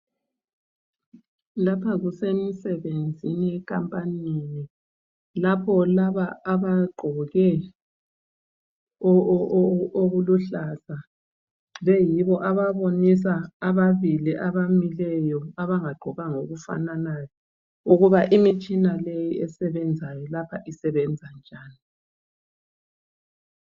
Lapha kusemsebenzini enkampanini. Lapho laba abagqoke okuluhlaza beyibo ababonisa ababili abamileyo abangagqokanga okufananayo ukuba imitshina leyi esebenzayo lapha isebenza njani.